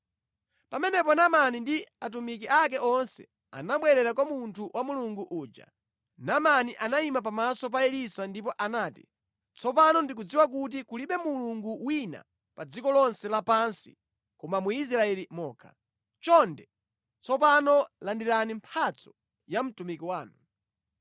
Pamenepo Naamani ndi atumiki ake onse anabwerera kwa munthu wa Mulungu uja. Naamani anayima pamaso pa Elisa ndipo anati, “Tsopano ndikudziwa kuti kulibe Mulungu wina pa dziko lonse lapansi koma mu Israeli mokha. Chonde, tsopano landirani mphatso ya mtumiki wanu.”